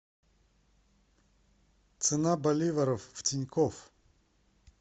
цена боливаров в тинькофф